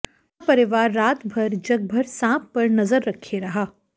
पूरा परिवार रातभर जगभर सांप पर नजर रखे रहा